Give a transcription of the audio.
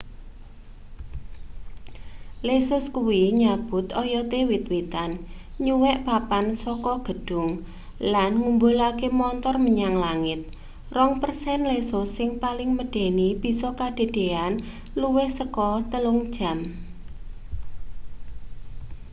lesus kuwi nyabut oyote wit-witan nyuwek papan saka gedhung lan ngumbulake montor menyang langit rong persen lesus sing paling medeni bisa kedadeyan luwih saka telung jam